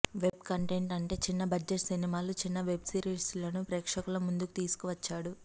web content అంటే చిన్న budget సినిమాలు చిన్న వెబ్ సిరీస్లను ప్రేక్షకుల ముందుకు తీసుకు వచ్చాడు